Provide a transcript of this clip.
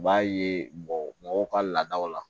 U b'a ye bɔ mɔgɔw ka laadaw la